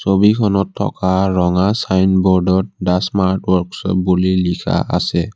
ছবিখনত থকা ৰঙা ছাইনবোৰ্ডত ডা স্মাৰ্ট ৱৰ্কছপ বুলি লিখা আছে।